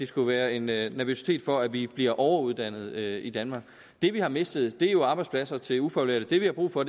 skulle være en nervøsitet for at vi bliver overuddannet i danmark det vi har mistet er jo arbejdspladser til ufaglærte det vi har brug for